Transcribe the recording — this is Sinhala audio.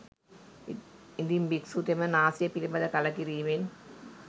ඉදින් භික්‍ෂුතෙම නාසය පිළිබඳ කලකිරීමෙන්